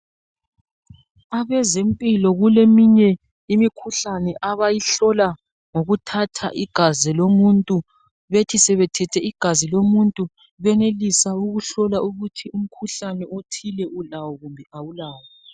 Abezempilo kuleminye imikhuhlane abayihlola ngokuthatha igazi lomuntu, Bethi sebethethe igazi lomuntu, benelisa ukuhlola ukuthi umkhuhlane othile, ulawo kumbe kawulawo.